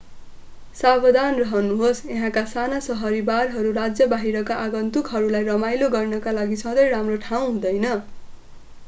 सावधान रहनुहोस् यहाँका साना शहरी बारहरू राज्य बाहिरका आगन्तुकहरूलाई रमाइलो गर्नका लागि सधैं राम्रो ठाउँ हुँदैन